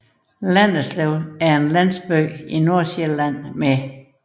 Landerslev er en landsby i Nordsjælland med